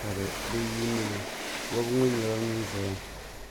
ka bɛ yuuni li wabigu ŋɔ nyɛla ŋun zaya